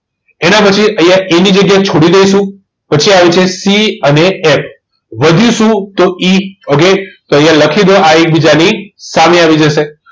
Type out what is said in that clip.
એના પછી અહીંયા A ની જગ્યા છોડી દઈશું પછી આવે છે C અને F વધ્યું શું તો E એટલે અહીંયા લખી દો I એકબીજાની સામસામે સામે આવી જશે